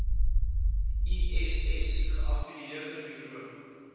iss geaffilieerde buro